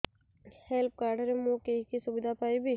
health card ରେ ମୁଁ କି କି ସୁବିଧା ପାଇବି